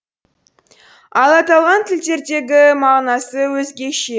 ал аталған тілдердеғі мағынасы өзгеше